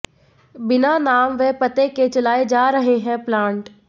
बिना नाम व पते के चलाए जा रहे हैं प्लांट